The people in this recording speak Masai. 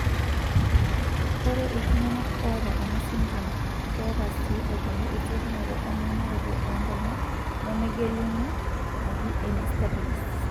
Ore iltung'anak oata enasindirom keeta sii aitoki esiokinoto emanaroto oonkonyet nemegeluni, naji enystagmus.